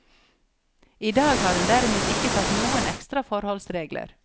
I dag har hun derimot ikke tatt noen ekstra forholdsregler.